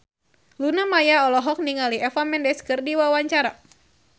Luna Maya olohok ningali Eva Mendes keur diwawancara